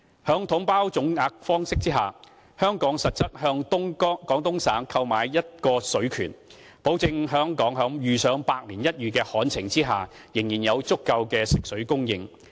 在"統包總額"方式下，香港實質是向廣東省購買一個水權，保證香港在遇上百年一遇的旱情下，仍然有足夠的食水供應。